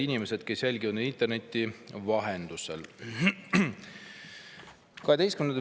Head inimesed, kes jälgivad meid interneti vahendusel!